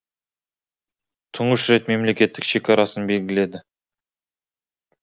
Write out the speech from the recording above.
тұңғыш рет мемлекеттік шекарасын белгіледі